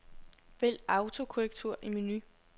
Vælg autokorrektur i menu.